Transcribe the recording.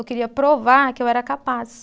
Eu queria provar que eu era capaz.